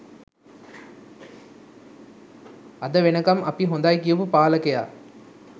අද වෙනකන් අපි හොඳයි කියපු පාලකයා?